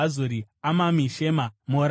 Amami, Shema, Moradha,